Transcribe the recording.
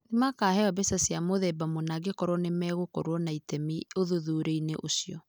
Nĩ makaaheo mbeca cia mũthemba mũna angĩkorũo nĩ megũkorũo na itemi ũthuthuria-inĩ ũcio.